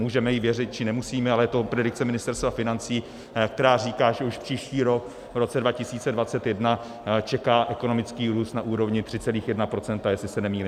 Můžeme jí věřit, či nemusíme, ale je to predikce Ministerstva financí, která říká, že už příští rok, v roce 2021, čeká ekonomický růst na úrovni 3,1 %, jestli se nemýlím.